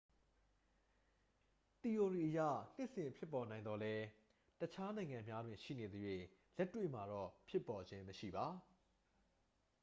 သီအိုရီအရ နှစ်စဉ်ဖြစ်ပေါ်နိုင်သော်လည်း တခြားနိုင်ငံများတွင် ရှိနေသရွေ့ လက်တွေ့မှာတော့ ဖြစ်ပေါ်ခြင်းမရှိပါ။